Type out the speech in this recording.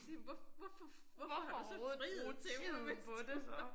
Siger men hvorfor hvorfor har du så friet til mig hvis du